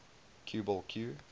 cue ball cue